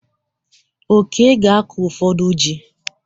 Oke ga-akụ ụfọdụ ji.